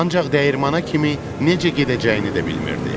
Ancaq dəyirmana kimi necə gedəcəyini də bilmirdi.